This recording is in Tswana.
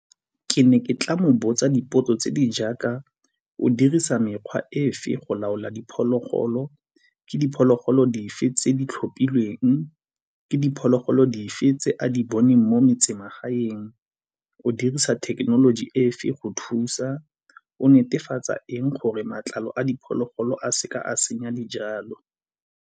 Ke ne ke tla mo botsa dipotso tse di jaaka, o dirisa mekgwa efe go laola diphologolo, ke diphologolo dife tse di tlhophilweng, ke diphologolo di fe tse a di boneng mo metsemagaeng, o dirisa thekenoloji e fe go thusa, o netefatsa eng gore matlalo a diphologolo a seka a senya dijalo?